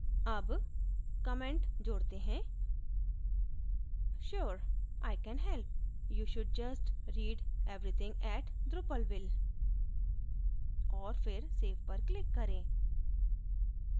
add comment जोडते हैंsure i can help you should just read everything at drupalville! और फिर save पर click करें